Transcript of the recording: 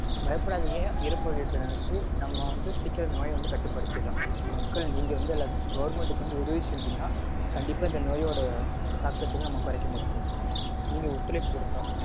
பயப்படாதீங்க இறப்பு விகிதத்த நெனைச்சு. நம்ம வந்து சீக்கிரம் இந்த நோய கட்டுப்படுத்திரலாம். மக்கள் நீங்க வந்து எல்லாத்துக்கும் government க்கு வந்து உதவி செஞ்சீங்கனா கண்டிப்பா இந்த நோயோட தாக்கத்த நம்ம கொறைக்க முடியும் நீங்க ஒத்துழைப்பு கொடுத்தா